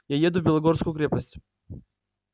я еду в белогорскую крепость